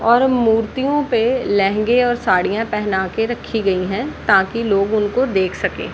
और मूर्तियों पे लेहंगे और साड़ियां पहना कर रखी गई हैं ताकि लोग उनको देख सके।